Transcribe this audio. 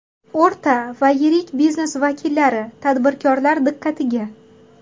O‘rta va yirik biznes vakillari-tadbirkorlar diqqatiga!!!